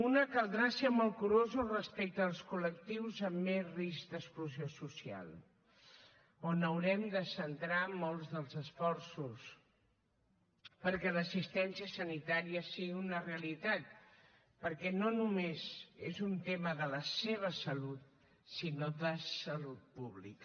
una caldrà ser molt curosos respecte als col·lectius amb més risc d’exclusió social en què haurem de centrar molts dels esforços perquè l’assistència sanitària sigui una realitat perquè no només és un tema de la seva salut sinó de salut pública